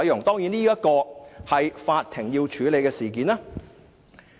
"當然，這件是法庭要處理的事件。